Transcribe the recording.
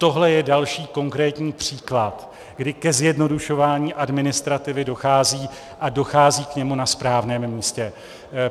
Tohle je další konkrétní příklad, kdy ke zjednodušování administrativy dochází, a dochází k němu na správném místě.